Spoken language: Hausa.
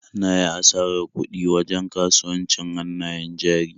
Na yi asarar kuɗi wajen kasuwancin hannayen jari.